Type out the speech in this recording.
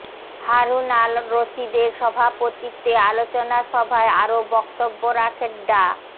হারুন আল রশিদের সভাপতিত্বে আলোচনা সভায় আরও বক্তব্য রাখেন ডা